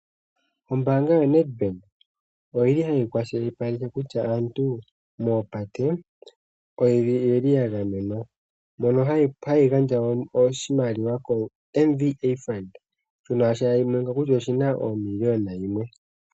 Ombaanga yo Nedbank oyili hayi kwa shilipaleke kutya aantu moopate oyeli ya gamenwa, mono hayi gandja oshimaliwa koMVA fund shono tashi monika kutya omiliyona yimwe.